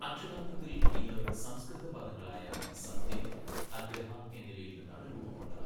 അക്ഷരാർത്ഥത്തിൽ ഇത് സംസ്കൃത പദങ്ങളായ സത്യം, അഗ്രഹഃ എന്നിവയിൽ നിന്നാണ് രൂപംകൊണ്ടത്.